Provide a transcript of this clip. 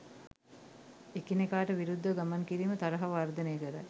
එකිනෙකාට විරුද්ධව ගමන් කිරීම තරහව වර්ධනය කරයි.